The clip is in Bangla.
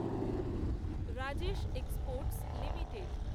Rajesh exports limited